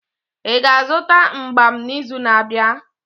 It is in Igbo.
Ị ga-azụta mgbam n'izu na-abịa?